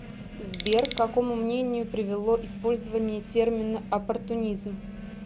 сбер к какому мнению привело использование термина оппортунизм